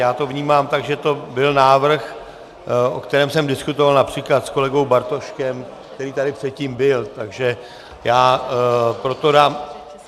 Já to vnímám tak, že to byl návrh, o kterém jsem diskutoval například s kolegou Bartoškem, který tady předtím byl, takže já proto dám...